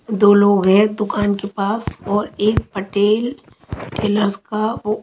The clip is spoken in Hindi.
दो लोग है दूकान के पास और एक पटेल टैलर्स का --